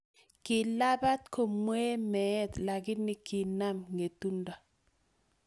Kilabat komwee meet lakini kinam ngetundo